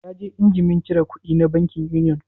Ya je injimin cire kudi na bankin Union